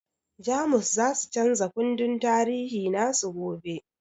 Jamus zasu chanza kundin tarihi nasu gobe